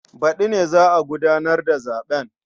Baɗi ne za a gudanar da zaɓen.